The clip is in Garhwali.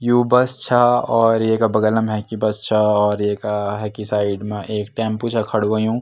यु बस छा और येका बगलम हेकी बस छा और येका हेकी साइड मा एक टेम्पो छा खडू हुयुं।